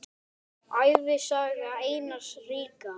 Ævisaga Einars ríka